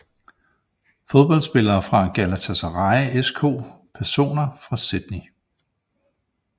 Fodboldspillere fra Galatasaray SK Personer fra Sydney